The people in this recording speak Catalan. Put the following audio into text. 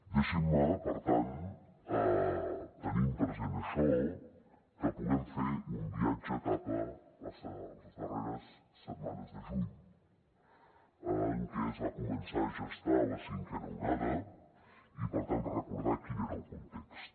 deixin me per tant tenint present això que puguem fer un viatge cap a les darreres setmanes de juny en què es va començar a gestar la cinquena onada i per tant recordar quin era el context